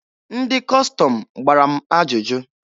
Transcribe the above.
Ndị Kọstọm gbara m ajụjụ.